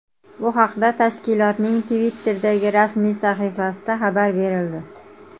Bu haqda tashkilotning Twitter’dagi rasmiy sahifasida xabar berildi.